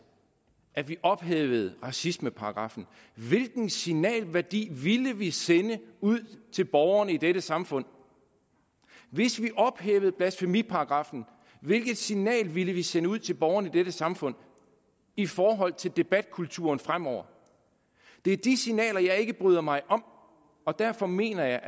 at vi ophævede racismeparagraffen hvilken signalværdi ville vi så sende ud til borgerne i dette samfund hvis vi ophævede blasfemiparagraffen hvilket signal ville vi så sende ud til borgerne i dette samfund i forhold til debatkulturen fremover det er de signaler jeg ikke bryder mig om og derfor mener jeg